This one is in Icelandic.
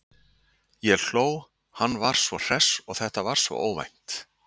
Ég hló, hann var svo hress og þetta var svo óvænt.